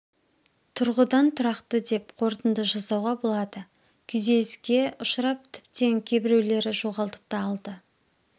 тұрғыдан тұрақты деп қорытынды жасауға болады күйзеліске ұшырап тіптен кейбіреулері жоғалтып та алды